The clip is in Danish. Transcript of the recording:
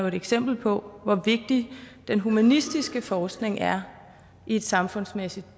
et eksempel på hvor vigtig den humanistiske forskning er i et samfundsmæssigt